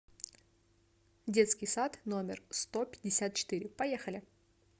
детский сад номер сто пятьдесят четыре поехали